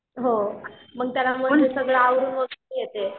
हो मग त्याला सगळं यावरून वगैरे येते.